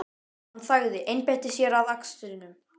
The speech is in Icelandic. Hann þagði, einbeitti sér að akstrinum.